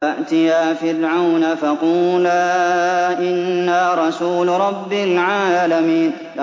فَأْتِيَا فِرْعَوْنَ فَقُولَا إِنَّا رَسُولُ رَبِّ الْعَالَمِينَ